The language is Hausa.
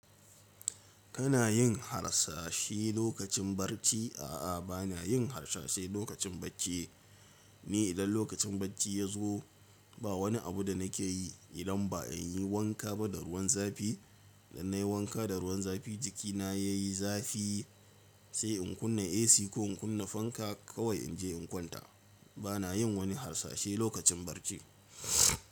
Kana yin harsashi lokacin barci? A'a, ba na yin harsashi lokacin bacci. Ni idan lokacin bacci ya zo ba wani abu da nake yi idan ba in yi wanka ba da ruwan zafi. Idan nayi wanka da ruwan zafi jikina ya yi zafi sai in kunna AC ko in kunna fanka kawai in je in kwanta. Ba na yin wani harsashe lokacin barci.